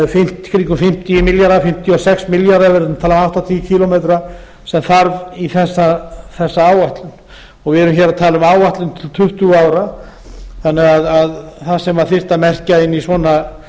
fimmtíu milljarða fimmtíu og sex milljarða ef við erum að tala um áttatíu kílómetra sem þarf í þessa áætlun við erum hér að tala um áætlun til tuttugu ára þannig að það sem þyrfti að merkja inn í svona